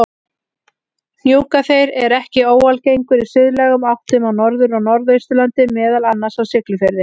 Hnjúkaþeyr er ekki óalgengur í suðlægum áttum á Norður- og Norðausturlandi, meðal annars á Siglufirði.